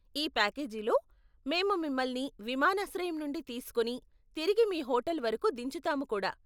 ఈ ప్యాకేజీలో, మేము మిమల్ని విమానాశ్రయం నుండి తీసుకొని తిరిగి మీ హోటల్ వరకు దించుతాము కూడా.